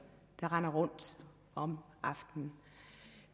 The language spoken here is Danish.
der render rundt om aftenen